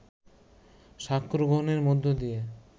সাক্ষ্যগ্রহণের মধ্য দিয়ে